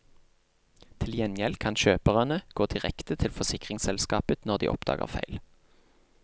Til gjengjeld kan kjøperne gå direkte til forsikringsselskapet når de oppdager feil.